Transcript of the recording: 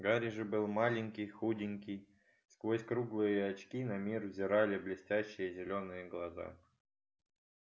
гарри же был маленький худенький сквозь круглые очки на мир взирали блестящие зелёные глаза